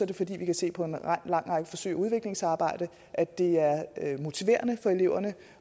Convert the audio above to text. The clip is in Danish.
det fordi vi kan se på en lang række forsøg i udviklingsarbejdet at det er motiverende for eleverne